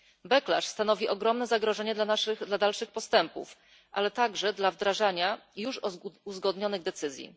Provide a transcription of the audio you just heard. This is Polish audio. Backlash stanowi ogromne zagrożenie dla dalszych postępów, ale także dla wdrażania już uzgodnionych decyzji.